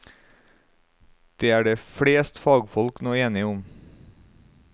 Det er det fleste fagfolk nå enige om.